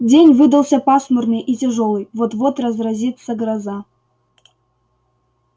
день выдался пасмурный и тяжёлый вот-вот разразится гроза